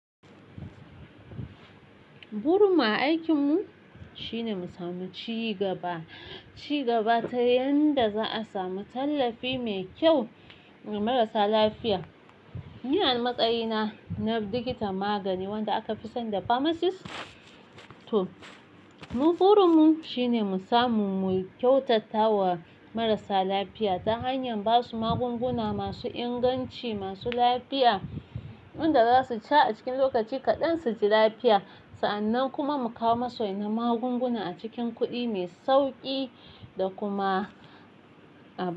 Burin a aikinmu shine mu samu ci gaba, ci gaba ta yanda za a samu tallafi mai kyau ma marasa lafiya. Ni a matsayina na likitan Magani wanda aka fi san da Pharmacist too, burinmu shine mu samu mu kyautata wa marasa lafiya ta hanyar ba su magunguna masu inganci, masu lafiya, wanda za su sha a cikin lokaci kaɗan su ji lafiya. Sa'annan kuma mu kawo masoyi na magunguna a cikin kuɗi mai sauƙi da kuma abubuwa.